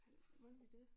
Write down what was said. Må vi det